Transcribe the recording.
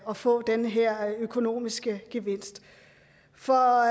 at få den her økonomiske gevinst for